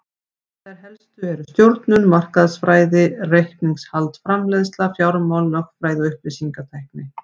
Þær helstu eru stjórnun, markaðsfræði, reikningshald, framleiðsla, fjármál, lögfræði og upplýsingatækni.